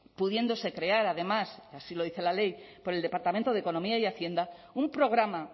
pudiéndose crear además y así lo dice la ley por el departamento de economía y hacienda un programa